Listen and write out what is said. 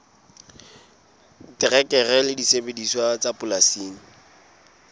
terekere le disebediswa tsa polasing